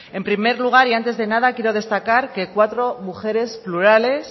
en primer lugar y antes de nada quiero destacar que cuatro mujeres plurales